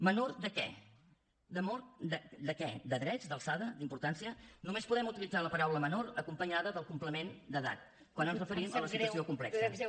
menor de què de drets d’alçada d’importància només podem utilitzar la paraula menor acompanyada del complement d’edat quan ens referim a la situació complexa